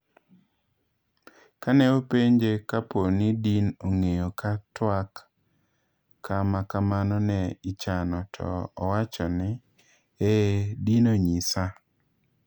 Kane openje kapooni din ong'eyo ka twaka makamano ne ichano, to owachoni,"Eeeh, din onyisa."